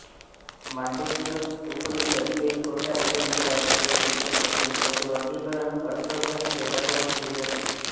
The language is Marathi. मांडूक्य उपनिषद हे छोट्या उपनिषदांपैकी एक असून त्याचे वर्गीकरण अथर्ववेदासोबत केले जाते